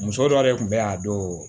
Muso dɔ de kun bɛ a don